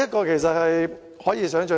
這是可以想象的。